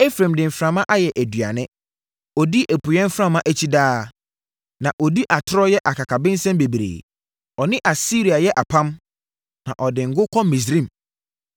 Efraim de mframa ayɛ aduane; ɔdi apueeɛ mframa akyi daa na ɔdi atorɔ yɛ akakabensɛm bebree. Ɔne Asiria yɛ apam na ɔde ngo kɔ Misraim.